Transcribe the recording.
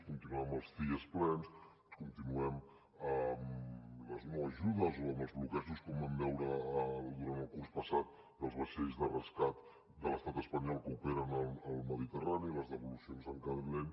continuem amb els cies plens continuem amb les no ajudes o amb els bloquejos com vam veure durant el curs passat dels vaixells de rescat de l’estat espanyol que operen al mediterrani i les devolucions en calent